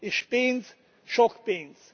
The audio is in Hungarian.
És pénz, sok pénz!